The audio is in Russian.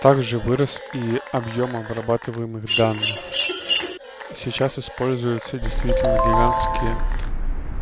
также вырос и объём обрабатываемых данных сейчас используются действительно гигантские